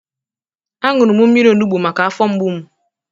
Aṅụrụ m mmiri onubu maka afọ mgbu m